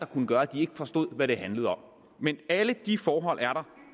kunne gøre at de ikke forstår hvad det handler om men alle de forhold